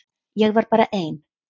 Ég var bara ein.